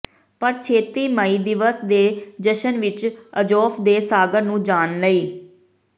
ਪਰ ਛੇਤੀ ਮਈ ਦਿਵਸ ਦੇ ਜਸ਼ਨ ਵਿਚ ਅਜ਼ੋਫ ਦੇ ਸਾਗਰ ਨੂੰ ਜਾਣ ਲਈ